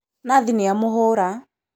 Nathi nĩamũhũra